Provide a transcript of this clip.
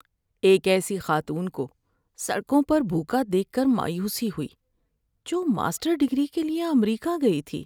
ایک ایسی خاتون کو سڑکوں پر بھوکا دیکھ کر مایوسی ہوئی جو ماسٹر ڈگری کے لیے امریکہ گئی تھی۔